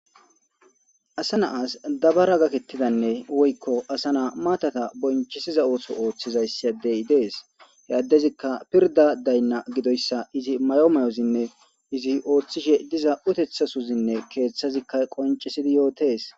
Asa na'as dabara gaketidanne woyko asa na matata bonchisiza otho othiza issi adey des he adezikka pirda dayna gidoysa Izi mayo mayozinne izi othishe diza utethasozinne kethazikka qoncisidi yotese